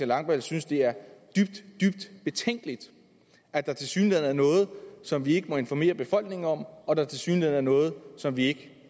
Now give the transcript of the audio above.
langballe synes det er dybt dybt betænkeligt at der tilsyneladende er noget som vi ikke må informere befolkningen om og at der tilsyneladende er noget som vi ikke